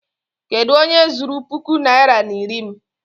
Kedụ onye zuru puku naịra na iri m?